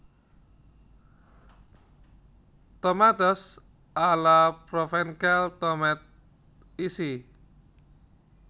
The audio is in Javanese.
Tomates a la Provencale tomat isi